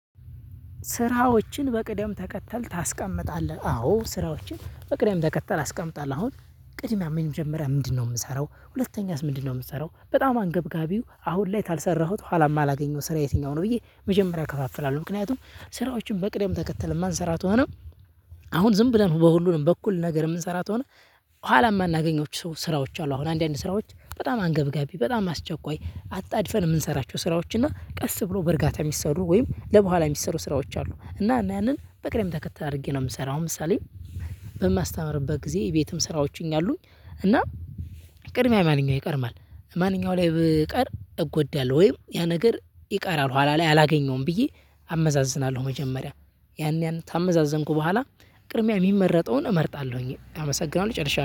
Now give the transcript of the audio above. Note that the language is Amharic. ስራዎችን በቅደም ተከተል ታስቀምጣለህ? አዎ ስራዎችን በቅደም ተከተል አስቀምጣለህ። አሁን ቅድሚያ ምን ጀምረህ ምንድነው የምሰራው? ሁለተኛስ ምንድነው የምትሰራው? በጣም አንገብጋቢው አሁን ላይ ካልሰራሁት ኋላ ማላገኘው ስራ የትኛው ነው? ብዬ በኩል ነገር እምንሰራ ከሆነ ኋላ እማናገኛቸው ስራዎች አሉ። አሁን አንዳንድ ስራዎች በጣም አንገብጋቢ በጣም አስቸኳይ አጣድፈን እምንሰራቸው ስራዎች እና ቀስ ብሎ በርጋታ የሚሰሩ ወይም ቡሃላ የሚሰሩ ስራዎች አሉ። እና ያንን በቅደም ተከተል አድርጌ ነው የምሰራው። አሁን ለምሳሌ በማስተምርበት ጊዜ ቤትም ስራዎችን አሉኝ። እና ቅድሚያ ማንኛው ይቀድማል ማንኛው ላይ በቀር እጎዳለሁ ወይም ያ ነገር ይቀራል ሁላ ላይ አላገኘውም ብዬ አመዛዝናለሁ። መጀመሪያ ያን ያን ካመዛዘንኩ ቡሃላ ቅድሚያ የሚመረጠውን እመርጣለሁኝ። አመሰግናለሁ ይጨርሻለው